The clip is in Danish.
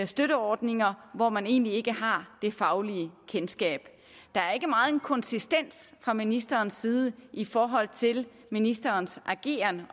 støtteordninger hvor man egentlig ikke har det faglige kendskab der er ikke megen konsistens fra ministerens side i forhold til ministerens ageren